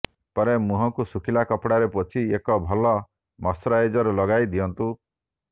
ପରେ ମୁହଁକୁ ଶୁଖିଲା କପଡ଼ାରେ ପୋଛି ଏକ ଭଲ ମଶ୍ଚୁରାଇଜର ଲଗାଇ ଦିଅନ୍ତୁ